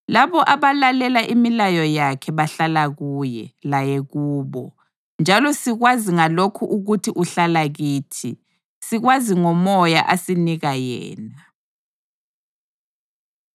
Labo abalalela imilayo yakhe bahlala kuye, laye kubo. Njalo sikwazi ngalokhu ukuthi uhlala kithi: Sikwazi ngoMoya asinika yena.